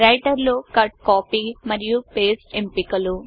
writer లో cut copy మరియు paste ఎంపికలు